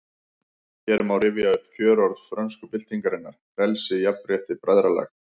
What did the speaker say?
Hér má rifja upp kjörorð frönsku byltingarinnar: Frelsi, jafnrétti, bræðralag